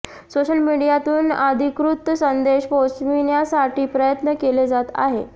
social मीडियातून अधिकृत संदेश पोहचविण्यासाठी प्रयत्न केले जात आहे